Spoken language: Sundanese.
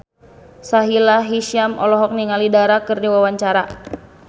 Sahila Hisyam olohok ningali Dara keur diwawancara